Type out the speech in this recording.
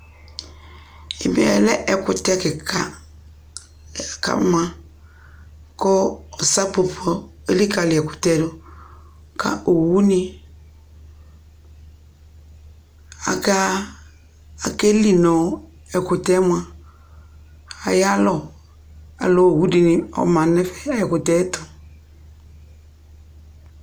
Ɛmɛ ɛkʋtɛ kɩka kʋ ama kʋ sapopo elikǝli ɛkʋtɛ yɛ dʋ kʋ owunɩ aka akeli nʋ ɛkʋtɛ yɛ mʋa ayalɔ Alʋ owu dɩnɩ ɔma nʋ ɛfɛ nʋ ɛkʋtɛ yɛ tʋ